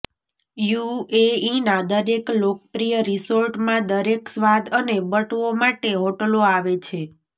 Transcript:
યુએઈના દરેક લોકપ્રિય રિસોર્ટમાં દરેક સ્વાદ અને બટવો માટે હોટલો આવે છે